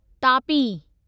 Tapi